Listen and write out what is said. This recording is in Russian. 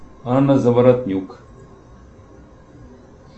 анна заворотнюк